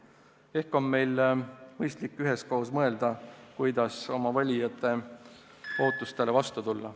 Ehk on meil mõistlik üheskoos mõelda, kuidas oma valijate ootustele vastu tulla.